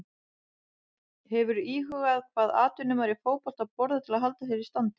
Hefurðu íhugað hvað atvinnumaður í fótbolta borðar til að halda sér í standi?